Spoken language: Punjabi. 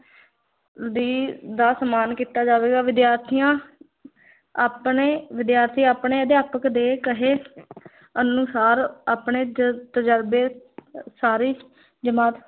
ਦੀ ਦਾ ਸਨਮਾਨ ਕੀਤਾ ਜਾਵੇਗਾ, ਵਿਦਿਆਰਥੀਆਂ ਆਪਣੇ ਵਿਦਿਆਰਥੀ ਆਪਣੇ ਅਧਿਆਪਕ ਦੇ ਕਹੇ ਅਨੁਸਾਰ ਆਪਣੇ ਜ ਤਜ਼ਰਬੇ ਸਾਰੀ ਜਮਾਤ